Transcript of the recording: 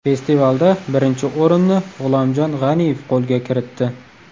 Festivalda birinchi o‘rinni G‘ulomjon G‘aniyev qo‘lga kiritdi.